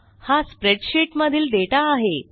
हा स्प्रेडशीट मधील डेटा आहे